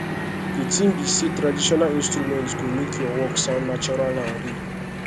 the thing be say traditional instrument go make your work sound natural and real